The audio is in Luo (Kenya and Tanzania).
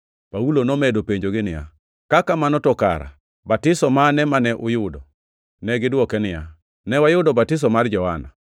Paulo nomedo penjogi niya, “Ka kamano, to kare batiso mane mane uyudo?” Negidwoke niya, “Ne wayudo batiso mar Johana.”